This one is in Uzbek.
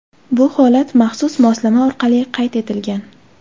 Bu holat maxsus moslama orqali qayd etilgan.